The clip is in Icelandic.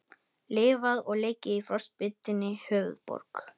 Lifað og leikið í frostbitinni höfuðborg